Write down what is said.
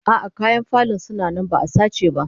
A'a, kayan falon suna nan ba'a sace ba